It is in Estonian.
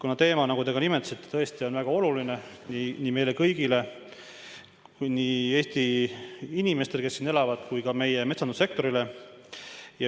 See teema, nagu te nimetasite, tõesti on väga oluline nii meile kui ka kõigile Eesti inimestele, kes siin elavad, samuti meie metsandussektorile.